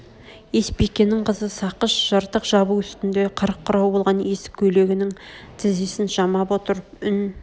есбикенің қызы сақыш жыртық жабу үстнде қырық құрау болған есік көйлегнің тізесін жамап отырып үн